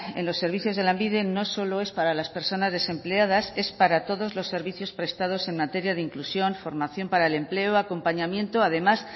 en los servicios de lanbide no solo es para las personas desempleadas es para todos los servicios prestados en materia de inclusión formación para el empleo acompañamiento además